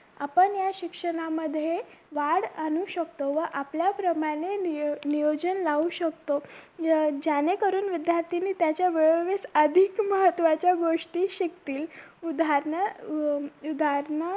या शिक्षणामध्ये वाढ आणू शकतो व आपल्याप्रमाणे नियो नियोजन लावू शकतो ज्या ज्याने करून विद्यार्थ्यांनी त्याच्या वेळोवेळो अधिक महत्वाच्या गोष्टी शिकतील उदाहरण अं उदाहरण